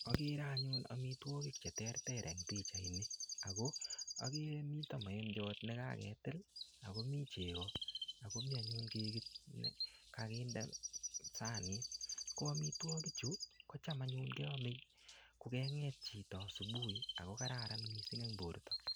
Akere anyun amitwogik che terter eng pichait ini. Ako akere mitei maembiot ne kaketil, akomii chego, akomii anyun kekit ne kakinde sanit. Ko amitwogik chu, kocham anyun keame kokeng'et chito asubuhi, ako kararan missing eng borto.